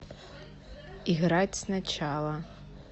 играть сначала